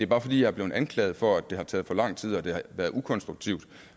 bare fordi jeg er blevet anklaget for at det har taget for lang tid og at det har været ukonstruktivt og